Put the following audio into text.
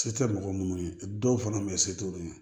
Se tɛ mɔgɔ minnu ye dɔw fana bɛ se t'olu ye